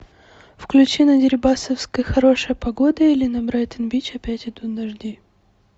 включи на дерибасовской хорошая погода или на брайтон бич опять идут дожди